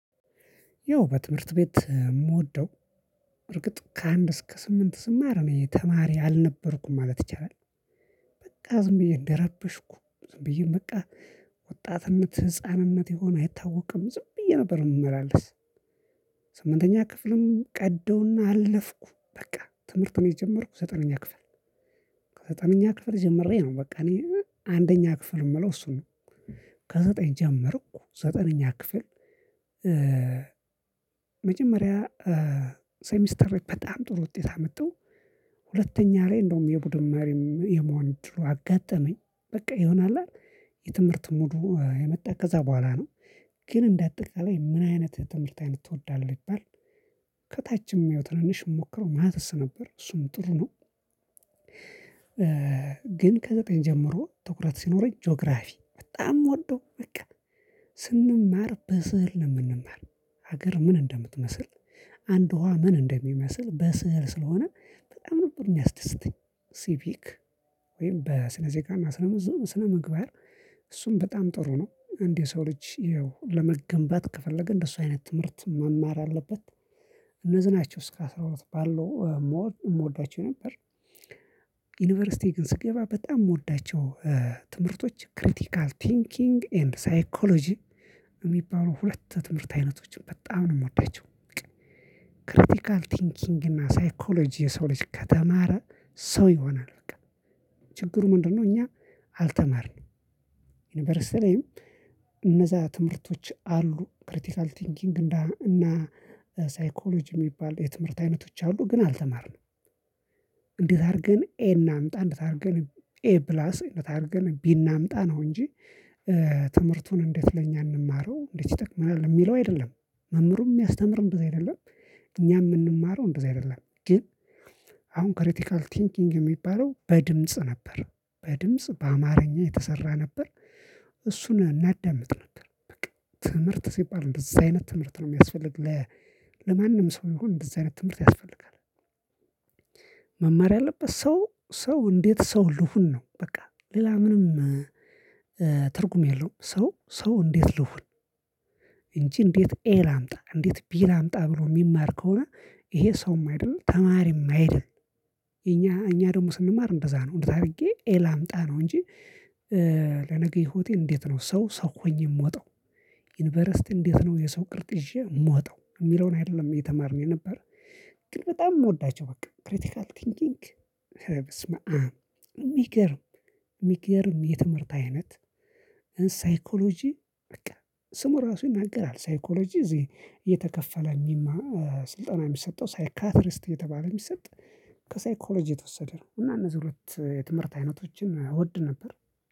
ያው በትምርት ቤት የምወደው እርግጥ ከአንድ እስከ ስምንት ስማር እኔ ተማሪ አልነበርኩም ማለት ይቻላል። በቃ ዝም ብዬ እንደረበሽኩ፣ ዝም ብዬ በቃ ወጣትነት ህፃንነት የሆነ አይታወቅም፣ ዝም ብዬ ነበር የምመላለስ። ስምንተኛ ክፍልም ቀዳውና አለፍኩ፤ በቃ ትምህርቱን የጀመርኩ ዘጠነኛ ክፍል ከዘጠነኛ ክፍል ጀምሬ ነው በቃ እኔ አንደኛ ክፍል የምለው እሱን ነው። ከዘጠኝ ጀመርኩ ዘጠነኛ ክፍል መጀመሪያ ሴሚስተር በጣም ጥሩ ውጤት አመጣሁ። ሁለተኛ ላይ እንደውም የቡድን መሪም የመሆን እድሉ አጋጠመኝ። በቃ የሆነ አለ አደል የትምህርት ሙዱ የመጣ ከዛ በኋላ ነው። ግን እንደ አጠቃላይ ምን አይነት ትምህርት አይነት ትወዳለህ ቢባል ከታችም ያው ትንንሽ የምሞክረው ማትስ ነበር፤ እሱም ጥሩ ነው። ግን ከዘጠኝ ጀምሮ ትኩረት ሲኖረኝ ጂኦግራፊ በጣም የምወደው በቃ ስንማር በስዕል ነው የምንማር። ሀገር ምን እንደምትመስል፤ አንድ ውሃ ምን እንደሚመስል፤ በስዕል ስለሆነ በጣም ነበር የሚያስደስተኝ። ሲቪክ ወይም በስነ ዜጋ እና ስነ ስነ ምግባር እሱም በጣም ጥሩ ነው። አንድ የሰው ልጅ ያው ለመገንባት ከፈለገ እንደሱ አይነት ትምህርት መማር አለበት። እነዚህ ናቸው እስከ አስራ ሁለት ባለው ሞር እምወዳቸው ነበር። ዩኒቨርሲቲ ግን ስገባ በጣም እምወዳቸው ትምህርቶች ክሪቲካል ቲንኪንግ ኤንድ ሳይኮሎጂ የሚባሉ ሁለት የትምህርት አይነቶችን በጣም ነው የምወዳቸው። በቃ ክሪቲካል ቲንኪንግ እና ሳይኮሎጂ የሰው ልጅ ከተማረ ሰው ይሆናል በቃ። ችግሩ ምንድነው እኛ አልተማርንም ዩኒቨርስቲ ላይም እነዛ ትምህርቶች አሉ ክሪቲካል ቲንኪንግ እና ሳይኮሎጂ የሚባሉ የትምህርት አይነቶች አሉ ግን አልተማርንም። እንዴት አድርገን ኤ እናምጣ እንዴት አድርገን ኤ ፕላስ እንዴት አድርገን ቢ እናምጣ ነው እንጂ ትምህርቱን እንዴት ለኛ እንማረው እንዴት ይጠቅምናል የሚለው አይደለም መምህሩም የሚያስተምረው እንደዛ አይደለም እኛም የምንማረው እንደዛ አይደለም። ግን አሁን ክሪቲካል ቲንኪንግ የሚባለው በድምጽ ነበር። በድምጽ በአማርኛ የተሰራ ነበር እሱን እናዳምጥ ነበር። በቃ ትምህርት ሲባል እንደዛ አይነት ትምህርት ነው የሚያስፈልግ ለ ለማንም ሰው ይሁን እንደዛ አይነት ትምህርት ያስፈልጋል። ያለበት ሰው ሰው እንዴት ሰው ልሁን ነው በቃ ሌላ ምንም ትርጉም የለውም ሰው ሰው እንዴት ልሁን እንጂ እንዴት ኤ ላምጣ እንዴት ቢ ላምጣ ብሎ የሚማር ከሆነ ይሄ ሰውም አይደለም ተማሪም አይደለም። እኛ እኛ ደግሞ ስንማር እንደዛ ነው እንዴት አድርጌ ኤ ላምጣ ነው እንጂ ለነገ ህይወቴ እንዴት ነው ሰው ሰው ሆኜ የምወጣው። ዩኒቨርሲቲ እንዴት ነው የሰው ቅርጥ ይዤ የምወጣው የሚለውን አይደለም የተማርነው የነበረ። ግን በጣም የምወዳቸው በቃ ክሪቲካል ቲንኪንግ ኧረ በስመአም የሚገርም የሚገርም የትምህርት አይነት ሳይኮሎጂ በቃ ስሙ ራሱ ይናገራል ሳይኮሎጂ እዚህ እየተከፈለ እሚማ ስልጠና የሚሰጠው ሳይካትሪስት እየተባለ የሚሰጥ ከሳይኮሎጂ የተወሰደ ነው። እና እነዚህ ሁለት የትምህርት አይነቶችን እወድ ነበር።